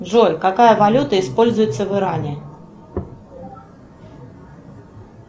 джой какая валюта используется в иране